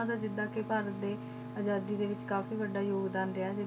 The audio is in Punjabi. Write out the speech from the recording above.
ਉਹਨਾਂ ਦਾ ਜਿੱਦਾਂ ਕਿ ਘਰ ਦੇ ਆਜ਼ਾਦੀ ਦੇ ਵਿੱਚ ਕਾਫ਼ੀ ਵੱਡਾ ਯੋਗਦਾਨ ਰਿਹਾ,